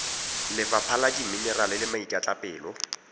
lefapha la dimenerale le maikatlapelo